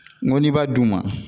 N go n'i b'a d'u ma